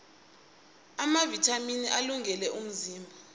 amavithamini alungele umzimba